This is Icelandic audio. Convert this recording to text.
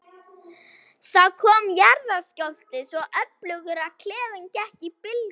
Það kom jarðskjálfti, svo öflugur að klefinn gekk í bylgjum.